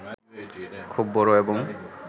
খুব বড় এবং